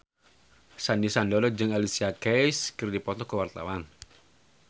Sandy Sandoro jeung Alicia Keys keur dipoto ku wartawan